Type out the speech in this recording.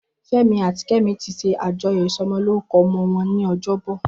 Femi àtí Kemi ti ṣé ájọyọ̀ isọmọlórúkọ̀ ọmọ wọn ni ọjọbọ